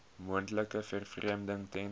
moontlike vervreemding ten